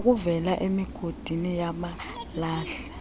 okuvela emigodini yamalahle